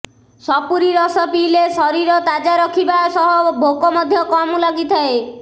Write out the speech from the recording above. ସପୁରି ରସ ପିଇଲେ ଶରୀର ତାଜା ରଖିବା ସହ ଭୋକ ମଧ୍ୟ କମ ଲାଗିଥାଏ